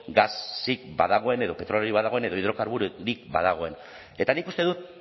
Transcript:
gasik badagoen edo petroliorik badagoen edo hidrokarburorik badagoen eta nik uste dut